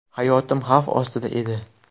Hayotim xavf ostida edi.